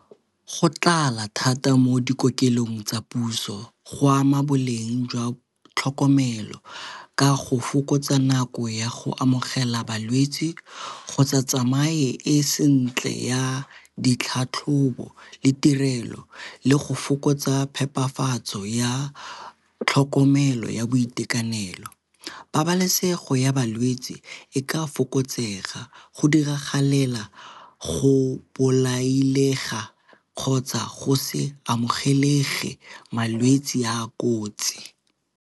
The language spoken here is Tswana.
Go tlala thata mo dikokelong tsa puso go ama boleng jwa tlhokomelo ka go fokotsa nako ya go amogela balwetsi kgotsa tsamaye e sentle ya ditlhatlhobo le tirelo le go fokotsa phepafatso ya tlhokomelo ya boitekanelo. Pabalesego ya balwetsi e ka a fokotsega go diragalela go bolaile ga kgotsa go se amogelege malwetsi a a kotsi.